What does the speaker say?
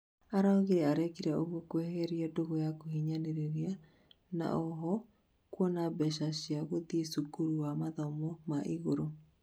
arauga arekire ũguo kweherera ndũgu ya kuhinyanĩriria, na oho kuona mbeca cĩa guthiĩ cukuru wa mathomo ma igũrũ